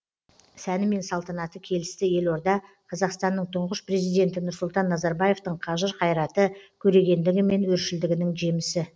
сәні мен салтанаты келісті елорда қазақстанның тұңғыш президенті нұрсұлтан назарбаевтың қажыр қайраты көрегендігі мен өршілдігінің жемісі